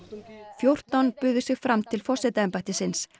fjórtán buðu sig fram til forsetaembættisins